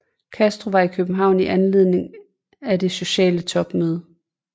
Castro var i København i anledning af det sociale topmøde